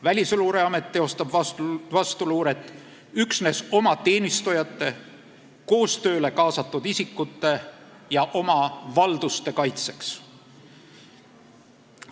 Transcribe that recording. Välisluureamet teostab vastuluuret üksnes oma teenistujate, koostööle kaasatud isikute ja oma valduste kaitseks.